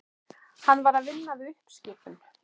Hann var að vinna við uppskipun.